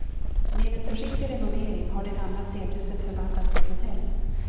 Med en försiktig renovering har det gamla stenhuset förvandlats till hotell.